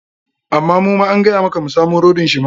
Amma muma an gaya maka mu samo rodin shi ma.